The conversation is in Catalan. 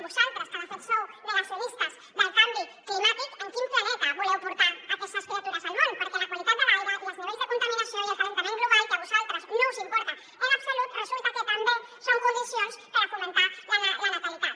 vosaltres que de fet sou negacionistes del canvi climàtic en quin planeta voleu portar aquestes criatures al món perquè la qualitat de l’aire i els nivells de contaminació i l’escalfament global que a vosaltres no us importen en absolut resulta que també són condicions per fomentar la natalitat